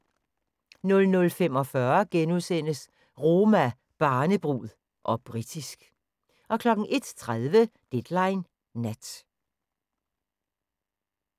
00:45: Roma, barnebrud - og britisk * 01:30: Deadline Nat